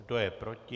Kdo je proti?